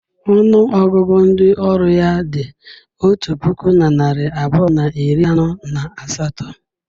Ọnụ ọgụgụ ndị ọrụ ya dị otu puku na narị abụọ na iri anọ na asatọ.